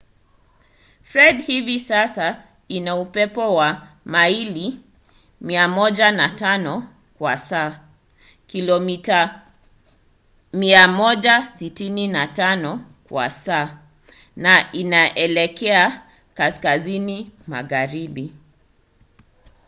fred hivi sasa ina upepo wa maili 105 kwa saa kilomita 165 kwa saa na inaelekea kaskazini magharibi